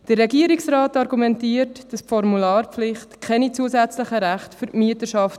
Der Regierungsrat argumentiert, dass die Formularpflicht keine zusätzlichen Rechte für die Mieter schafft.